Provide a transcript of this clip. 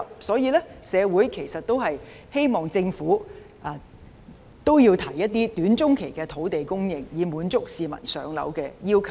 所以，社會其實希望政府提出一些短中期的土地供應，以滿足市民上樓的需求。